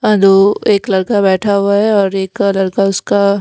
दो एक लड़का बैठा हुआ है और एक लड़का उसका--